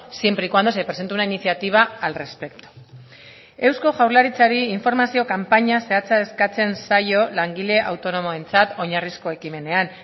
siempre y cuando se presente una iniciativa al respecto eusko jaurlaritzari informazio kanpaina zehatza eskatzen zaio langile autonomoentzat oinarrizko ekimenean